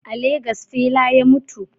A Legas fela ya mutu